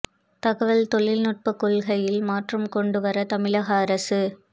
தகவல் தொழில்நுட்ப கொள்கையில் மாற்றம் கொண்டு வர தமிழக அரசு